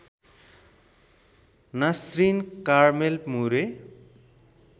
Nasrin Carmel Moore